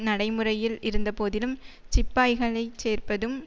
நடைமுறையில் இருந்தபோதிலும் சிப்பாய்களை சேர்ப்பதும்